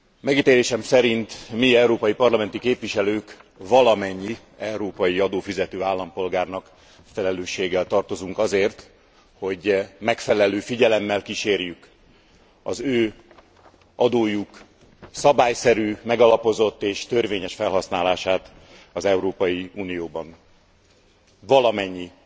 Megítélésem szerint, mi európai parlamenti képviselők valamennyi európai adófizető állampolgárnak felelősséggel tartozunk azért, hogy megfelelő figyelemmel kísérjük az ő adójuk szabályszerű, megalapozott és törvényes felhasználását az Európai Unióban. Valamennyi